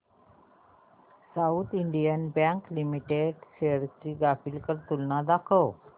south Indian Bank Limited shares ची graphical तुलना दाखव